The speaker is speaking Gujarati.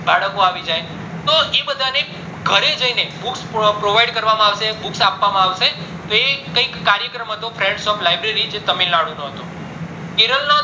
બળકો આવી જાય તો એ બધાને ઘરે જઈને books provide કરવા માં આવશે books આપવામાં આવશે તો એ કૈક કાર્યક્રમ હતો friends of library તો એ તમિલ નાડુ નો હતો